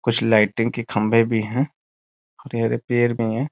कुछ लाइटिंग की खम्बे भी हैं यह रिपेयर में है ।